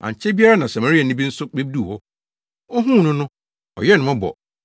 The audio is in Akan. Ankyɛ biara na Samariani bi nso beduu hɔ. Ohuu no no, ɔyɛɛ no mmɔbɔ.